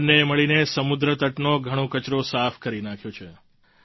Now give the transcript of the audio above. બંને એ મળીને સમુદ્ર તટનો ઘણો કચરો સાફ કરી નાખ્યો છે